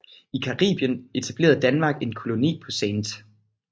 I Caribien etablerede Danmark en koloni på St